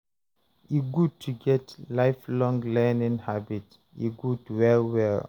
e good to get lifelong learning habit, e good well well